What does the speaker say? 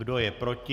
Kdo je proti?